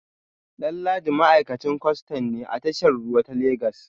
Danladi ma’aikacin kwastan ne a tashar ruwa ta Legas